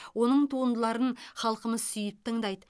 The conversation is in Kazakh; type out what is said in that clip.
оның туындыларын халқымыз сүйіп тыңдайды